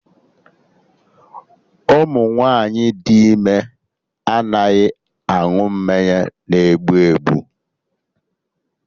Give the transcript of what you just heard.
Ụmụ nwaanyị dị ime anaghị aṅụ mmanya na egbu egbu